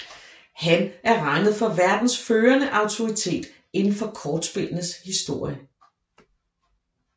Han er regnet for verdens førende autoritet indenfor kortspillenes historie